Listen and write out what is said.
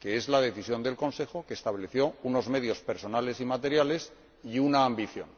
que es la Decisión del Consejo, que estableció unos medios personales y materiales y una ambición.